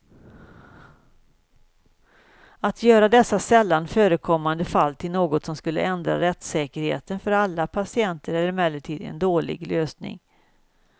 Att göra dessa sällan förekommande fall till något som skulle ändra rättssäkerheten för alla patienter är emellertid en dålig lösning.